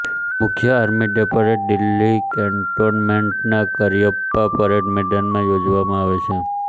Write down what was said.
મુખ્ય army day parade Delhi કેન્ટોનમેન્ટના Cariappa parade મેદાનમાં યોજવામાં આવે છે